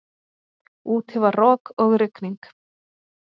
Úti var rok og rigning.